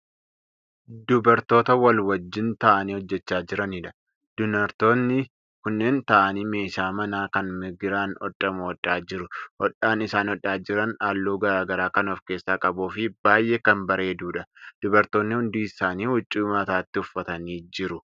Dubartoota wal wajjiin taa'anii hojjachaa jiraniidha. dunartoonni kunniin taa'anii meeshaa manaa Kan migiraan hodhamu hodhaa jiru. hodhaan isaan hodhaa Jiran halluu garagaraa Kan of keessaa qabuufi baay'ee Kan bareedudha. dubartoonni hundi isaanii huccuu mataatti uffatanii jiru.